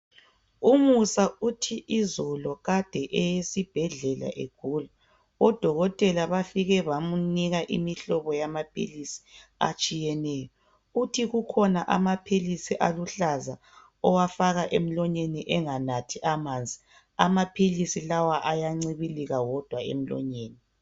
Umusa uthi izolo kade eye esibhedlela egula odokotela bafike bamnika imihlobo yamaphilizi atshiyeneyo uthi kukhona amaphilizi aluhlaza awafaka emlonyeni enganathi amanzi amaphilizi lawa ayancibilika wodwa emlonyeni